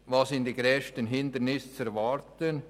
Wo sind die grössten Hindernisse zu erwarten?